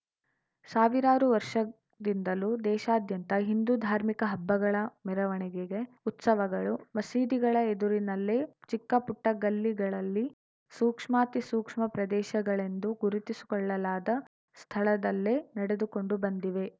ಸಾವಿರಾರು ವರ್ಷದಿಂದಲೂ ದೇಶಾದ್ಯಂತ ಹಿಂದು ಧಾರ್ಮಿಕ ಹಬ್ಬಗಳ ಮೆರವಣಿಗೆಗೆ ಉತ್ಸವಗಳು ಮಸೀದಿಗಳ ಎದುರಿನಲ್ಲೇ ಚಿಕ್ಕಪುಟ್ಟಗಲ್ಲಿಗಳಲ್ಲಿ ಸೂಕ್ಷ್ಮಾತಿಸೂಕ್ಷ್ಮ ಪ್ರದೇಶಗಳೆಂದು ಗುರುತಿಸು ಕೊಳ್ಳಲಾದ ಸ್ಥಳದಲ್ಲೇ ನಡೆದುಕೊಂಡು ಬಂದಿವೆ